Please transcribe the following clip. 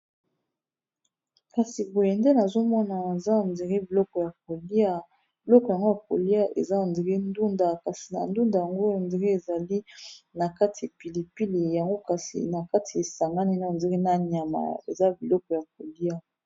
kasi boye nde nazomonana za ndiri biloko ya kolia biloko yango ya kolia eza ndiri ndunda kasi na ndunda yango indiri ezali na kati pilipili yango kasi na kati esangani na ndiri na nyama eza biloko ya kolia